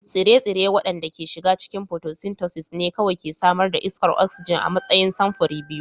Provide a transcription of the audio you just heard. Tsire-tsire waɗanda ke shiga cikin photosynthesis ne kawai ke samar da iskar oxygen a matsayin samfuri biyu